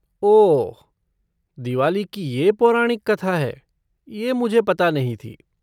ओह दिवाली की ये पौराणिक कथा है, ये मुझे पता नहीं थी।